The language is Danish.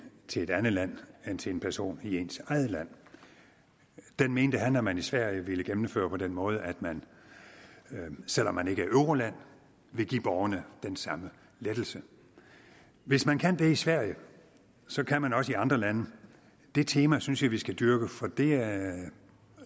til et andet land end til en person i ens eget land den mente han at man i sverige ville gennemføre på den måde at man selv om man ikke er et euroland vil give borgerne den samme lettelse hvis man kan det i sverige så kan man også i andre lande det tema synes jeg at vi skal dyrke for det er